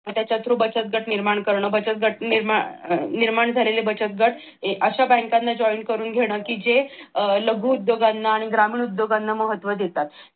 मग त्याच्या through बचत गट निर्माण कर निर्माण झालेले बचत गट अश्या बँकांना join करून घेणं कि जे लघुउद्योगांना आणि ग्रामीण उद्योगांना महत्व देतात.